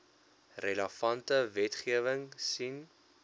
relevante wetgewing sien